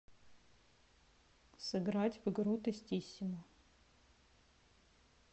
сыграть в игру тестисимо